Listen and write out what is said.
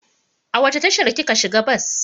A wace tashar kika shiga bas?